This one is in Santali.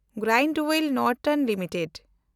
Grindwell Norton limited